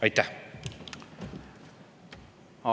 Aitäh!